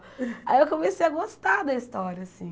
Aí eu comecei a gostar da história, assim.